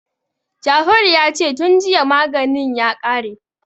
Jafaru ya ce "tun jiya maganin ya kare".